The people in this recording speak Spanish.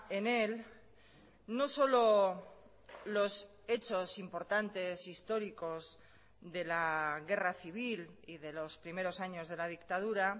en él no solo los hechos importantes históricos de la guerra civil y de los primeros años de la dictadura